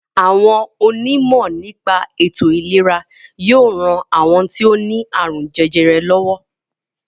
Àwọn onímọ̀ nípa ètò-ìlera yóò ran àwọn tó ní àrùn jẹjẹrẹ lọ́wọ́.